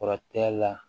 Kɔrɔtɛ la